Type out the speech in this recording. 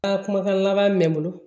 Ka kumakan laban min bolo